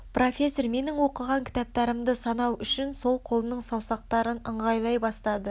профессор менің оқыған кітаптарымды санау үшін сол қолының саусақтарын ыңғайлай бастады